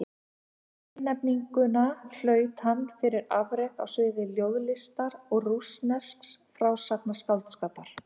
Tilnefninguna hlaut hann fyrir afrek á sviði ljóðlistar og rússnesks frásagnarskáldskapar.